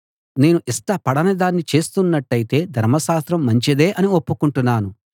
నేను ఇష్టపడని దాన్ని చేస్తున్నట్టయితే ధర్మశాస్త్రం మంచిదే అని ఒప్పుకుంటున్నాను